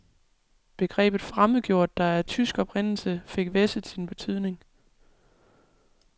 Begrebet fremmedgjort, der er af tysk oprindelse, fik hvæsset sin betydning.